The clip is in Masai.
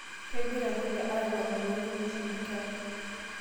Kegira kule aipang'u toonkumeshin enkerai.